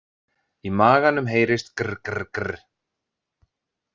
Í maganum heyrist grr- grr- grr.